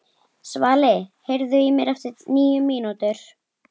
Svali, heyrðu í mér eftir níu mínútur.